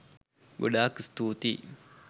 ගොඩාක් ස්තුතියි